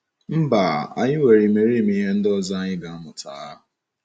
Mba, anyị nwere imerime ihe ndị ọzọ anyị ga - amụta.